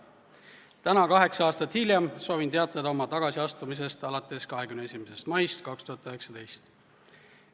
Täna, kaheksa aastat hiljem soovin teatada oma tagasiastumisest alates 21. maist 2019.